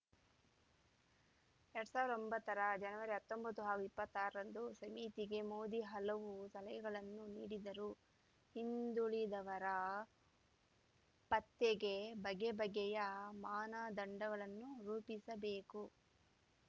ಎರಡ್ ಸಾವಿರ ಒಂಬತ್ತರ ಜನವರಿ ಹತ್ತೊಂಬತ್ತು ಹಾಗೂ ಇಪ್ಪತ್ತಾರರಂದು ಸಮಿತಿಗೆ ಮೋದಿ ಹಲವು ಸಲಹೆಗಳನ್ನು ನೀಡಿದರು ಹಿಂದುಳಿದವರ ಪತ್ತೆಗೆ ಬಗೆಬಗೆಯ ಮಾನದಂಡಗಳನ್ನು ರೂಪಿಸಬೇಕು